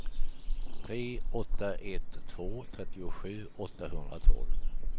tre åtta ett två trettiosju åttahundratolv